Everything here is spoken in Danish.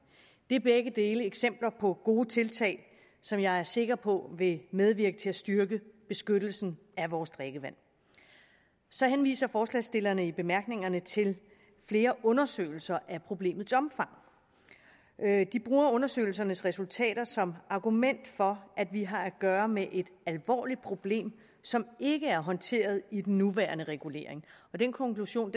det er begge dele eksempler på gode tiltag som jeg er sikker på vil medvirke til at styrke beskyttelsen af vores drikkevand så henviser forslagsstillerne i bemærkningerne til flere undersøgelser af problemets omfang de bruger undersøgelsernes resultater som argument for at vi har at gøre med et alvorligt problem som ikke er håndteret i den nuværende regulering den konklusion